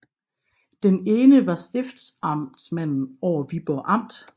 Den ene var stiftsamtmanden over Viborg amt